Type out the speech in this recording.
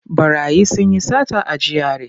Ɓarayi sun yi sata a GRA.